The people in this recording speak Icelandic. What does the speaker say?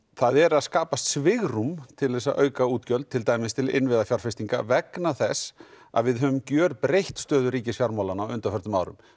það er að skapast svigrúm til að auka útgjöld til dæmis til innviðafjárfestinga vegna þess að við höfum gjörbreytt stöðu ríkisfjármálanna á undanförnum árum